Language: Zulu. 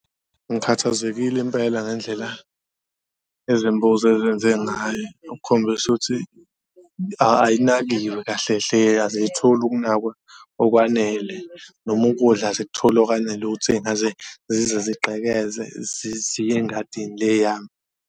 Ngikhathazekile impela ngendlela izimbuzi ezenze ngayo okukhombisa ukuthi ayinakiwe kahle hle aziyitholi ukunakwa okwanele noma ukudla azikutholi okwanele, ukuthi seyingaze zize zigqekeze ziye engadini le yami.